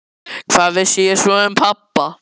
Hvað vissi ég svo sem um pabba?